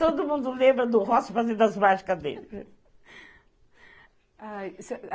Todo mundo lembra do Ross fazendo as mágicas dele.